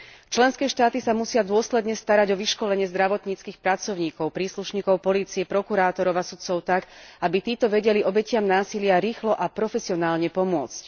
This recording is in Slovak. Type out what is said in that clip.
Členské štáty sa musia dôsledne starať o vyškolenie zdravotníckych pracovníkov, príslušníkov polície, prokurátorov a sudcov tak, aby títo vedeli obetiam násilia rýchlo a profesionálne pomôcť.